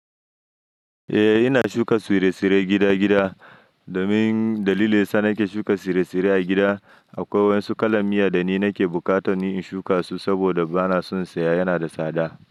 Eh ina shuka tsire-tsire gida-gida, domin dalili sa nake shuka tsire-tsire a gida akwai wasu kalan miya da ni nake buƙatan ni in shuka su saboda bana son saya yana da tsada.